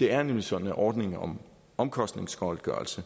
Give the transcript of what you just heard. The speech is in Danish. det er nemlig sådan at ordningen om omkostningsgodtgørelse